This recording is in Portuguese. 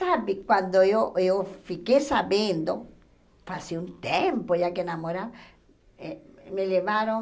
Sabe, quando eu eu fiquei sabendo, fazia um tempo já que namorava, me levaram...